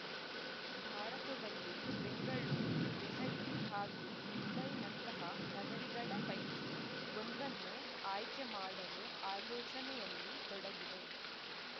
ಭಾರತದಲ್ಲಿ ಬೆಂಗಳೂರು ದೆಹಲಿ ಹಾಗೂ ಮುಂಬೈನಂತಹ ನಗರಿಗಳ ಪೈಕಿ ಒಂದನ್ನು ಆಯ್ಕೆ ಮಾಡಲು ಆಲೋಚನೆಯಲ್ಲಿ ತೊಡಗಿದೆ